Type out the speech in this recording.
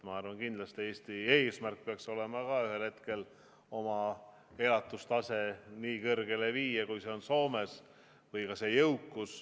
Ma arvan, et kindlasti peaks Eesti eesmärk olema ühel hetkel oma elatustase või jõukus nii kõrgele viia, kui see on Soomes.